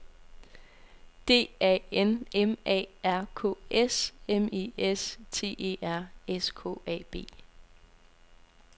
D A N M A R K S M E S T E R S K A B